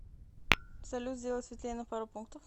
салют сделай светлее на пару пунктов